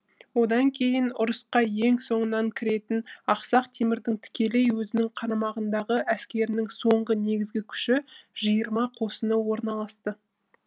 одан кейін ұрысқа ең соңынан кіретін ақсақ темірдің тікелей өзінің қарамағындағы әскерінің соңғы негізгі күші жиырма қосыны орналасты